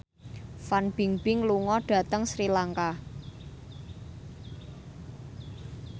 Fan Bingbing lunga dhateng Sri Lanka